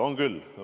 On küll.